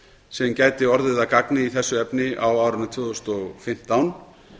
sem gæti orðið að gagni í þessu efni á árinu tvö þúsund og fimmtán